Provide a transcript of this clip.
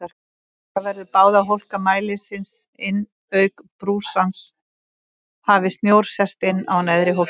Taka verður báða hólka mælisins inn auk brúsans hafi snjór sest innan á neðri hólkinn.